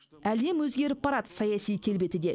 әлем өзгеріп барады саяси келбеті де